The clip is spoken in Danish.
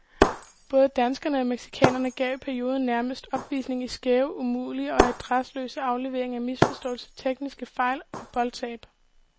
Både danskerne og mexicanerne gav i perioder nærmest opvisning i skæve, umulige og adresseløse afleveringer, misforståelser, tekniske fejl og boldtab.